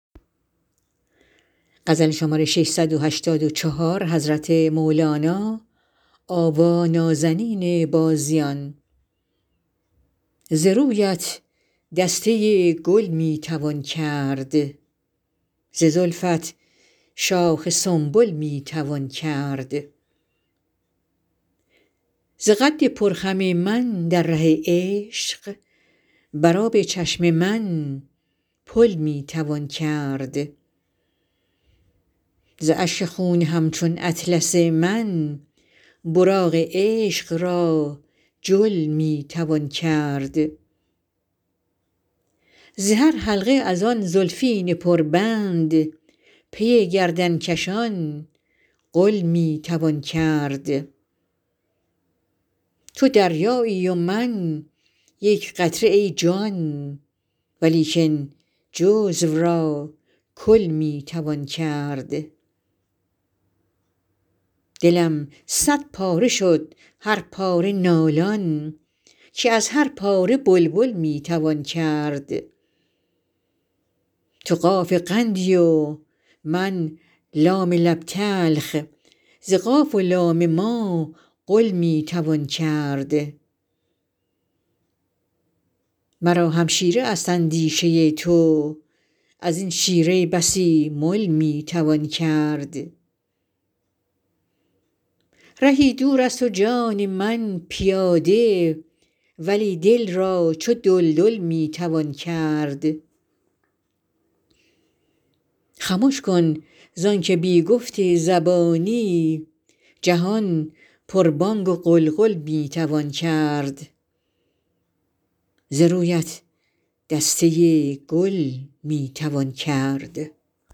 ز رویت دسته گل می توان کرد ز زلفت شاخ سنبل می توان کرد ز قد پرخم من در ره عشق بر آب چشم من پل می توان کرد ز اشک خون همچون اطلس من براق عشق را جل می توان کرد ز هر حلقه از آن زلفین پربند پر گردن کشان غل می توان کرد تو دریایی و من یک قطره ای جان ولیکن جزو را کل می توان کرد دلم صدپاره شد هر پاره نالان که از هر پاره بلبل می توان کرد تو قاف قندی و من لام لب تلخ ز قاف و لام ما قل می توان کرد مرا همشیره است اندیشه تو از این شیره بسی مل می توان کرد رهی دورست و جان من پیاده ولی دل را چو دلدل می توان کرد خمش کن زان که بی گفت زبانی جهان پربانگ و غلغل می توان کرد